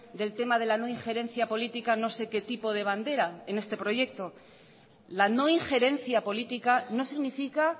del tema de la no ingerencia política no sé que tipo de bandera en este proyecto la no ingerencia política no significa